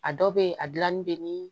A dɔw bɛ yen a dilanni bɛ ni